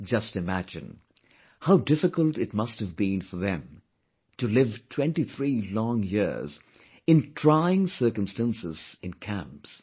Just imagine, how difficult it must have been for them to live 23 long years in trying circumstances in camps